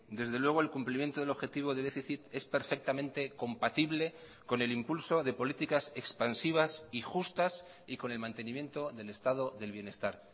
desde luego el cumplimiento del objetivo de déficit es perfectamente compatible con el impulso de políticas expansivas y justas y con el mantenimiento del estado del bienestar